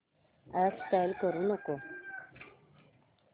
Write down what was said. app install करू नको